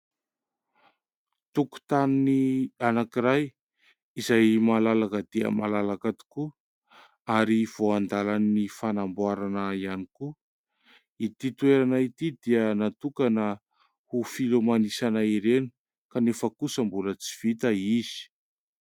tokotany anak'iray izay malalaka dia malalaka tokoa ary vao andalan'ny fanamboarana ihany koa ity toerana ity dia natokana ho filomanosana ireny kanefa kosa mbola tsy vita izy